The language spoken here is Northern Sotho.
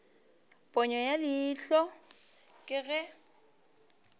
ponyo ya leihlo ke ge